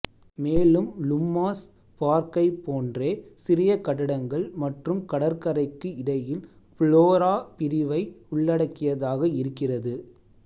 மேலும் லும்மாஸ் பார்க்கைப் போன்றே சிறிய கட்டடங்கள் மற்றும் கடற்கரைக்கு இடையில் ஃப்ளோரா பிரிவை உள்ளடக்கியதாக இருக்கிறது